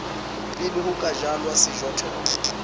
pele ho ka jalwa sejothollo